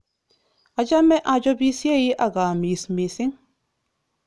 Achame achopisiei ak aamis mising